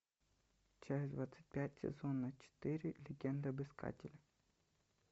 часть двадцать пять сезона четыре легенда об искателе